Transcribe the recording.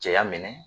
Cɛya minɛ